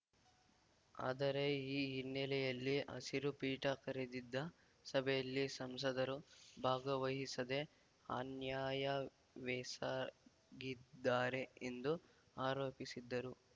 ಆದರೆ ಈ ಹಿನ್ನೆಲೆಯಲ್ಲಿ ಹಸಿರು ಪೀಠ ಕರೆದಿದ್ದ ಸಭೆಯಲ್ಲಿ ಸಂಸದರು ಭಾಗವಹಿಸದೇ ಅನ್ಯಾಯವೆಸಗಿದ್ದಾರೆ ಎಂದು ಆರೋಪಿಸಿದ್ದರು